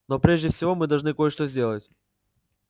но прежде всего мы должны кое-что сделать